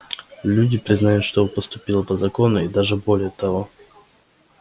люди признают что вы поступило по закону и даже более того